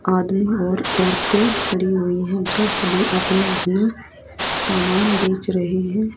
आदमी और औरतें खड़ी हुई है जो सभी अपना अपना सामान बेच रहे हैं।